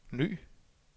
ny